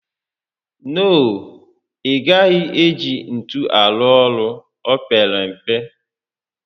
No, ị gaghị eji ntu arụ ọrụ, o pere mpe